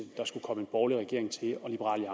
der skulle komme en borgerlig regering til og liberal